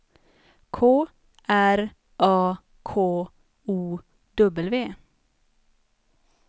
K R A K O W